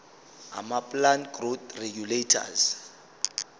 amaplant growth regulators